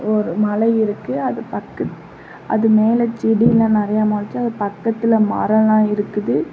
ஒரு மலை இருக்கு அது பக்கத் அது மேல செடியெல்லா நெறையா மொளச்சு அது பக்கத்துல மரோல்லா இருக்குது.